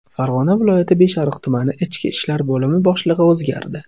Farg‘ona viloyati Beshariq tumani ichki ishlar bo‘limi boshlig‘i o‘zgardi.